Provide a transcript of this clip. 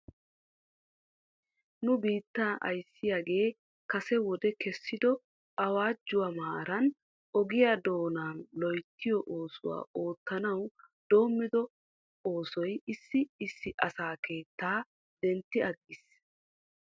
Nu biittaa ayssiyaagee kase wode kessido awaajuwaa maaran oge doonaa loyttiyoo oosuwaa oottanawu doommiddo oosoy issi issi asaa keettaa dentti aggiis.